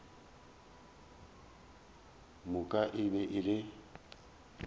moka e be e le